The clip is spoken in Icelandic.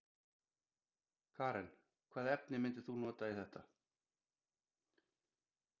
Karen: Hvaða efni myndir þú nota í þetta?